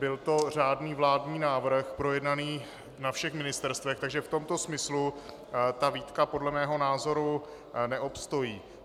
Byl to řádný vládní návrh, projednaný na všech ministerstvech, takže v tomto smyslu ta výtka podle mého názoru neobstojí.